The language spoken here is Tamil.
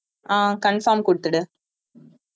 ஆஹ் confirm கொடுத்துடு